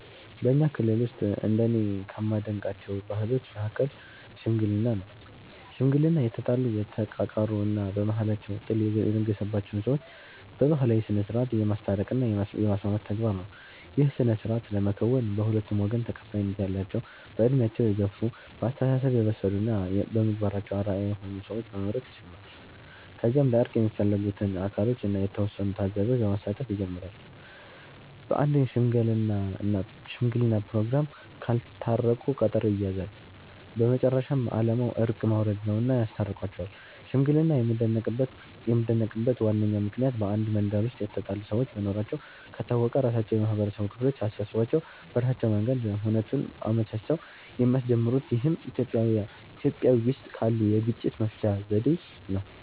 በኛ ክልል ውስጥ እንደኔ ከማደንቃቸው ባህሎች መሀከል "ሽምግልና" ነው። ሽምግልና የተጣሉ፣ የተቃቃሩ እና በመሃላቸው ጥል የነገሰባቸውን ሰዎች በባህላዊ ስነስርዓት የማስታረቅ እና የማስማማት ተግባር ነው። ይህን ስነስርዓት ለመከወን በሁለቱም ወገን ተቀባይነት ያላቸው በእድሜያቸው የገፍ፣ በአስተሳሰብ የበሰሉ እና በምግባራቸው አርአያ የሆኑ ሰዎችን በመምረጥ ይጀምራል። ከዚያም ለእርቅ የሚፈለጉት አካሎችን እና የተወሰኑ ታዛቢዎች በማሳተፍ ይጀመራል። በአንድ ሽምግለና ፕሮግራም ካልታረቁ ቀጠሮ ይያያዛል። በመጨረሻም አላማው እርቅ ማውረድ ነውና ያስታርቋቸዋል። ሽምግልና የሚደነቅበት ዋነኛው ምክንያት በአንድ መንደር ውስጥ የተጣሉ ሰዎች መኖራቸው ከታወቀ ራሳቸው የማህበረሰቡ ክፍል አሳስቧቸው በራሳቸው መንገድ ሁነቱን አመቻችተው የሚያስጀምሩት ይህም ኢትዮጵያዊ ውስጥ ካሉት የግጭት መፍቻ ዘዴ ነው።